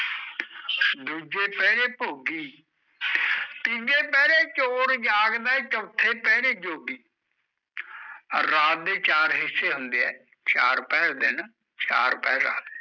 ਦੂਜੇ ਪਹਿਰੇ ਭੋਗੀ ਤੀਜੇ ਪਹਿਰੇ ਚੋਰ ਜਾਗਦਾ ਐ, ਚੋਥੈ ਪਹਿਰੇ ਜੋਗੀ ਰਾਤ ਦੇ ਚਾਰ ਹਿੱਸੇ ਹੁੰਦੇ ਐ, ਚਾਰ ਪਹਿਰ ਦਿਨ, ਚਾਰ ਪਹਿਰ ਰਾਤ